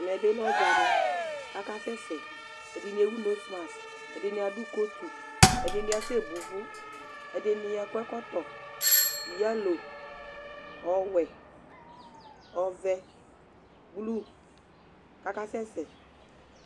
Ɛmɛ yɛ bɩ lɛ ɔdzanɩ kʋ akasɛsɛ Ɛdɩnɩ ewu nosmas, ɛdɩnɩ adʋ kotu, ɛdɩnɩ asɛbo ʋvʋ, ɛdɩnɩ akɔ ɛkɔtɔ yalo, ɔwɛ, ɔvɛ, blu kʋ akasɛsɛ